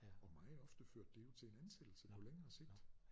Og meget ofte førte det jo til en ansættelse på længere sigt